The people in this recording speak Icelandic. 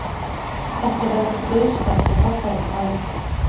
Þetta veldur dauðsfalli á hverju ári